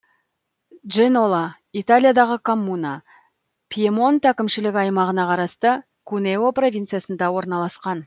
дженола италиядағы коммуна пьемонт әкімшілік аймағына қарасты кунео провинциясында орналасқан